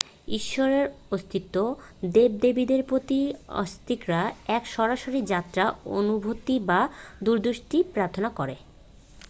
ঈশ্বরের অস্তিত্ব/ দেব-দেবীদের প্রতি আস্তিকরা এক সরাসরি যাত্রা অনুভূতি বা দূরদৃষ্টি প্রার্থনা করে।